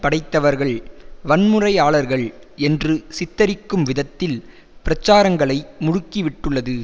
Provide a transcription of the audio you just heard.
படைத்தவர்கள் வன்முறையாளர்கள் என்று சித்தரிக்கும் விதத்தில் பிரச்சாரங்களை முடுக்கி விட்டுள்ளது